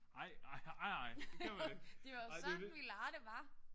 Nej nej nej nej det kan du ikke. Ej det er jo lidt